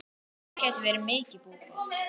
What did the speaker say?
Það geti verið mikil búbót.